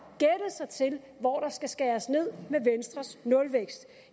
sig til hvor der skal skæres ned med venstres nulvækst